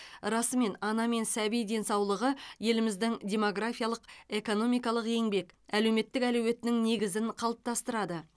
расымен ана мен сәби денсаулығы еліміздің демографиялық экономикалық еңбек әлеуметтік әлеуетінің негізін қалыптастырады